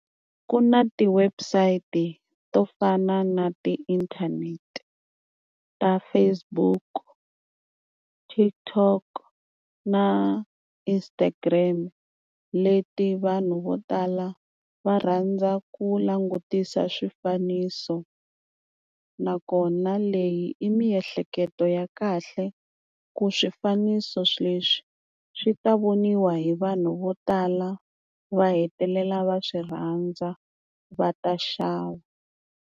Ku na ti website to fana na tiinthanete ta Facebook, TikTok na Instagram leti vanhu vo tala va rhandza ku langutisa swifaniso nakona leyi i miehleketo ya kahle ku swifaniso leswi swi ta voniwa hi vanhu vo tala va hetelela va swi rhandza va ta xava.